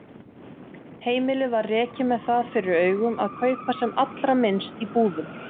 Heimilið var rekið með það fyrir augum að kaupa sem allra minnst í búðum.